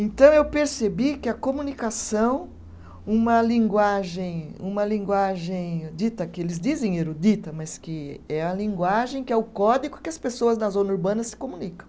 Então, eu percebi que a comunicação, uma linguagem, uma linguagem dita, que eles dizem erudita, mas que é a linguagem, que é o código que as pessoas da zona urbana se comunicam.